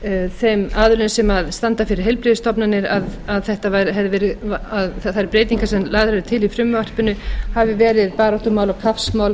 þeim aðilum sem standa fyrir heilbrigðisstofnunum að þær breytingar sem lagðar eru til í frumvarpinu hafi verið baráttumál og kappsmál